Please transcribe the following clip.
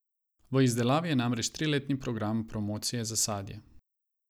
V izdelavi je namreč triletni program promocije za sadje.